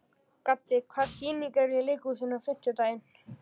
Gaddi, hvaða sýningar eru í leikhúsinu á fimmtudaginn?